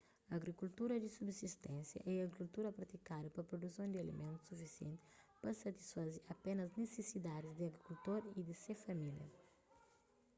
agrikultura di subsisténsia é agrikultura pratikadu pa pruduson di alimentus sufisienti pa satisfaze apénas nisisidadis di agrikultor y di se família